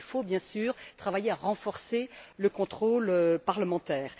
Il faut bien sûr travailler à renforcer le contrôle parlementaire.